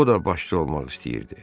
O da başçı olmaq istəyirdi.